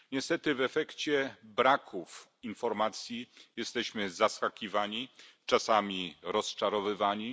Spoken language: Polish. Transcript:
Niestety w efekcie braków informacji jesteśmy zaskakiwani, czasami rozczarowywani.